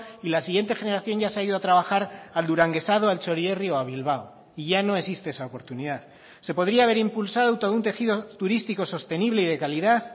y la siguiente generación ya se ha ido a trabajar al duranguesado al txorierri o a bilbao y ya no existe esa oportunidad se podría haber impulsado todo un tejido turístico sostenible y de calidad